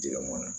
Jimɔn na